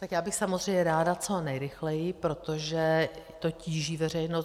Tak já bych samozřejmě ráda co nejrychleji, protože to tíží veřejnost.